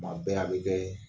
Kuma bɛɛ a be kɛɛ